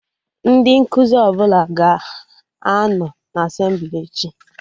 Ndị nkụzi ọbụla ga-anọ na Asemblị echi